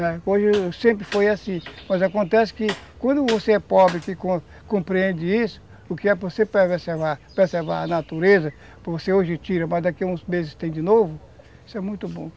Hoje sempre foi assim, mas acontece que quando você é pobre, que que compreende isso, o que é para você preservar a natureza, para você hoje tira, mas daqui a uns meses tem de novo, isso é muito bom.